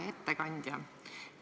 Hea ettekandja!